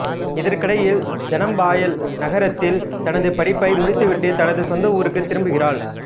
இதற்கிடையில் தனம் பாயல் நகரத்தில் தனது படிப்பை முடித்துவிட்டு தனது சொந்த ஊருக்கு திரும்புகிறாள்